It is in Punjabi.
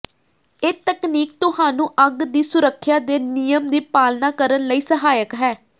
ਇਹ ਤਕਨੀਕ ਤੁਹਾਨੂੰ ਅੱਗ ਦੀ ਸੁਰੱਖਿਆ ਦੇ ਨਿਯਮ ਦੀ ਪਾਲਣਾ ਕਰਨ ਲਈ ਸਹਾਇਕ ਹੈ